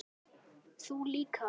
Þú líka.